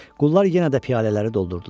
Qullar yenə də piyalələri doldurdular,